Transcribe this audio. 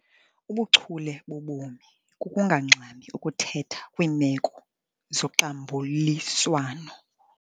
Ubuchule bobomi kukungangxami ukuthetha kwiimeko zoxambuliswano.